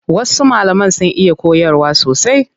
Wasu malaman sun iya koyarwa sosai.